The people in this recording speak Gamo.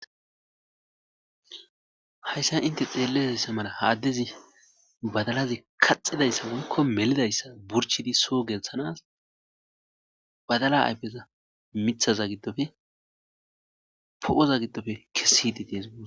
hayssa inte xeelizaysa mala ha addezi badalazi kaxidayssa walko melidayssa burchidi soo geelththanas badala ayfeza mithaza giddofe po'oza giddofe kessid dees gusa